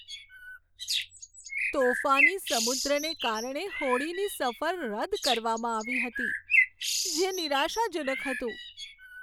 તોફાની સમુદ્રને કારણે હોડીની સફર રદ કરવામાં આવી હતી, જે નિરાશાજનક હતું.